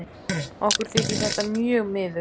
Okkur þykir þetta mjög miður.